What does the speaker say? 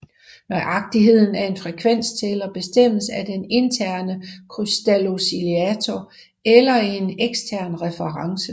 Nøjagtigheden af en frekvenstæller bestemmes af den interne krystaloscillator eller en ekstern reference